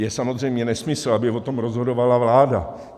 Je samozřejmě nesmysl, aby o tom rozhodovala vláda.